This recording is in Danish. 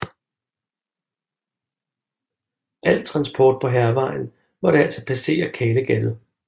Al transport på Hærvejen måtte altså passere Kalegattet